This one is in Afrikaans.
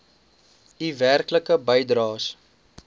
u werklike bydraes